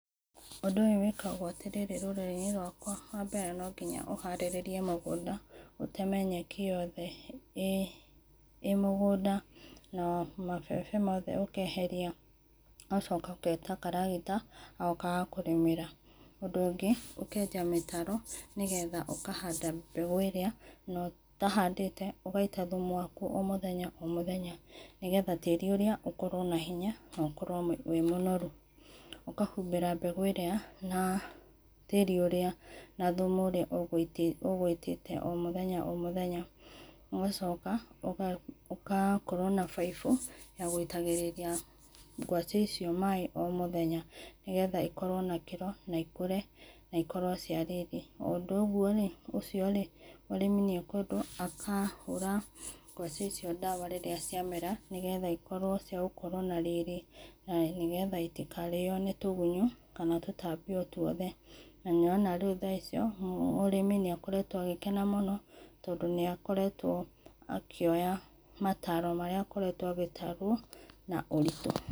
Undũ ũyũ wĩkagwo atĩ rĩrĩ rũrĩrĩ inĩ rwakwa wa mbere no ngĩnya ũharĩrĩe mũgũnda ũteme nyekĩ yothe ĩ mũgũnda na mabebe mothe ũkaeherĩa ũgacoka ũgeta karagĩta gagoka gakagũrĩmĩra. Undũ ũgĩ ũkenja mĩtaro nĩ getha ũkahanda mbegũ ĩrĩa na ũtahandĩte ũgaita thũmũ wakũ o mũthenya mũthenya nĩ getha tarĩ ũrĩa ũkorwo na hĩnya na ũkorwo wĩ mũnorũ. Ũkahũmbĩra mbegũ ĩrĩa na tarĩ ũrĩa na thũmũ ũrĩa ũgũitĩte o mũthenya o mũthenya ũgacoka ũgakorwo na bĩbũ ya gũitagĩrĩra ngwacĩ icio maĩ o mũthenya, nĩ getha ĩkorwo na ĩkĩro na ĩkũre na ĩkorwo cia rĩrĩ. Undũ ogũo ũcio ũrĩmi nĩ akũendwo akahũra ngawci icio ndawa rĩrĩa ciamera nĩ getha ĩkorwo nĩ cia gũkorwo na rĩrĩ na nĩ getha itikarĩo nĩ tũgũnyo kana tũtambĩ o twothe na nĩũrona tha icio mũrĩmĩ nĩakoretwo agĩkena mũno tondũ nĩakoretwo akĩoya mataro marĩa akoretwo agĩtarwo na ũrĩtũ.